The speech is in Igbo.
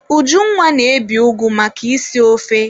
Ujunwa na-ebi ụgụ maka isi ofe.